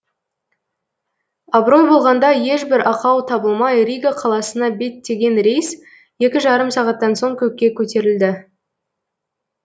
абырой болғанда ешбір ақау табылмай рига қаласына беттеген рейс екі жарым сағаттан соң көкке көтерілді